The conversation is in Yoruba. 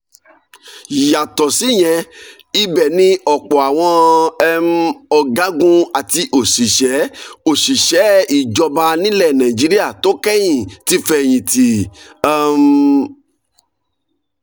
yàtọ̀ síyẹn ibẹ̀ ni ọ̀pọ̀ àwọn um ọ̀gágun àti òṣìṣẹ́ òṣìṣẹ́ ìjọba nílẹ̀ nàìjíríà tó kẹ́yìn ti fẹ́yìntì. um